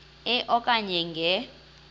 e okanye nge